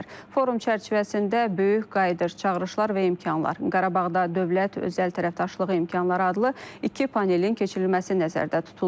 Forum çərçivəsində böyük qayıdış çağırışlar və imkanlar, Qarabağda dövlət özəl tərəfdaşlığı imkanları adlı iki panelin keçirilməsi nəzərdə tutulub.